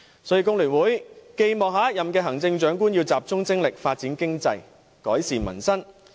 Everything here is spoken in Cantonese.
所以，工聯會寄望下一任行政長官集中精力發展經濟，改善民生。